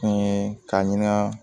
Fɛn ye ka ɲini ka